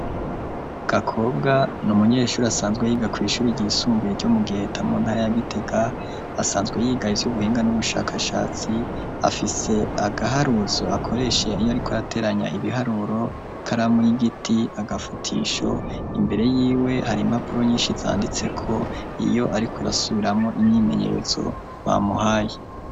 Gakobwa ni umunyeshuri asanzwe yiga ku ishuri ryisumbuye ryo mu giheta mu ntara ya gitega asanzwe yiga ivy'ubuhinga n'ubushakashatsi afise agaharuzo akoreshe iyo ariko arateranya ibiharuro karamu y'igiti agafutisho imbere y'iwe hari impapuro nyinshi izanditse ko iyo ariko rasubiramwo imyimenyezo bamuhaye.